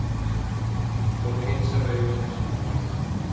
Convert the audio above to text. Og hreinsar augun með handarbakinu.